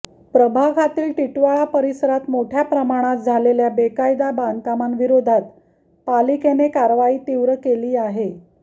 प्रभागातील टिटवाळा परिसरात मोठय़ा प्रमाणात झालेल्या बेकायदा बांधकामांविरोधात पालिकेने कारवाई तीव्र केली आहे